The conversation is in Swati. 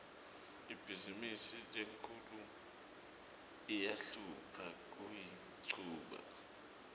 ibhizimisi lenkhulu iyahlupha kuyichuba